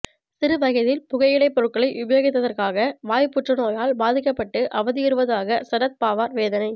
சிறு வயதில் புகையிலைப் பொருட்களை உபயோகித்ததற்காக வாய் புற்றுநோயால் பாதிக்கப்பட்டு அவதியுறுவதாக சரத் பவார் வேதனை